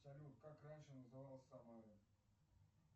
салют как раньше называлась самара